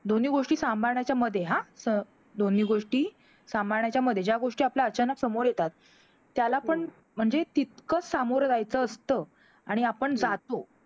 दोन्ही गोष्टी सांभाळण्याच्यामध्ये, हा तर दोन्ही गोष्टी सांभाळण्याच्या मध्ये, ज्या गोष्टी आपल्या अचानक समोर येतात, त्याला पण म्हणजे तितकंच सामोरं जायचं असतं आणि आपण जातो.